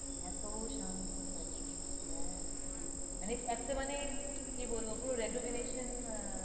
এতো শান্ত থাকে হ্যাঁ মানে একটা মানে কি বলবো পুরো retovinesion আহ